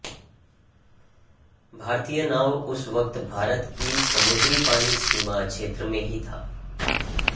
भारतीय नाव उस वक्त भारत की समुद्री पानी सीमा क्षेत्र में ही थी